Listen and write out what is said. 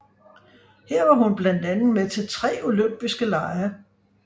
Her var hun blandt andet med til tre olympiske lege